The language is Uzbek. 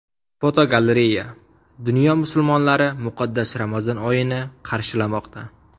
Fotogalereya: Dunyo musulmonlari muqaddas Ramazon oyini qarshilamoqda.